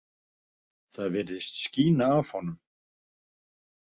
Það virtist skína af honum.